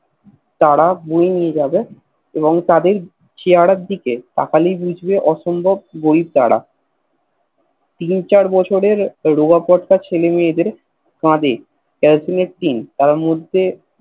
তারা বয়ে নিয়ে যাবে এবং তাদের চেহেরা দিকে তাকালেই বুঝবে অসম্ভব গরীব তারা তিন চার বছরে রোযা পট্ট ছেলে মেয়ে দের কাঁদে একটা করে টীন তার মধ্যে